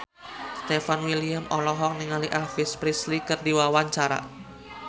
Stefan William olohok ningali Elvis Presley keur diwawancara